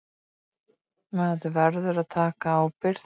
Spruði hann Toshizo Tanabe og lét eins og ekkert væri.